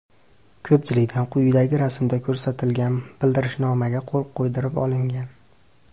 Ko‘pchilikdan quyidagi rasmda ko‘rsatilgan bildirishnomaga qo‘l qo‘ydirib olingan.